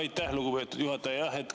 Aitäh, lugupeetud juhataja!